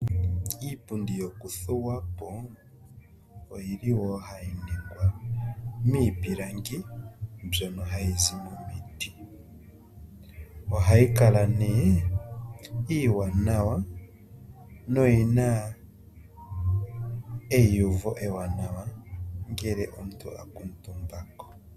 Iipundi yokuthuwa po oyili wo hayi ningwa miipilangi mbyono hayi zi momiti, ohayi kala nee iiwanawa noyina eiyuvo ewaanawa ngele omuntu a kuutumba ko.